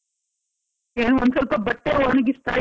ಈಗ ಒಂದ್ ಸ್ವಲ್ಪ ಬಟ್ಟೆ ಒಣಗಿಸ್ತಾ ಇದ್ದೆ.